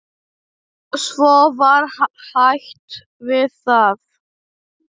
Svo var hætt við það.